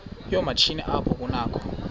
yoomatshini apho kunakho